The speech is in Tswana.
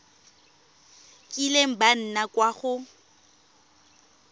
kileng ba nna kwa go